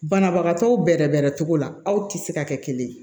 Banabagatɔw bɛrɛbɛrɛ cogo la aw tɛ se ka kɛ kelen ye